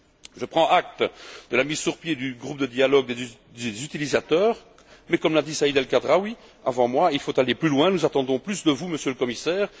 Je prends acte de la mise sur pied du groupe de dialogue des utilisateurs mais, comme l'a dit Saïd El Khadraoui avant moi, il faut aller plus loin, nous attendons plus de vous, Monsieur le Commissaire.